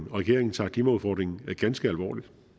regeringen tager klimaudfordringen ganske alvorligt